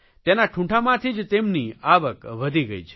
તેના ઠૂંઠામાંથી જ તેમની આવક વધી ગઇ છે